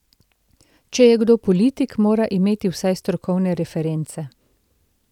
Če je kdo politik, mora imeti vsaj strokovne reference.